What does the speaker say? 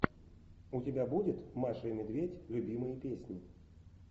у тебя будет маша и медведь любимые песни